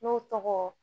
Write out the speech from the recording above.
N'o tɔgɔ